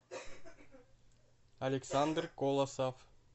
александр колосов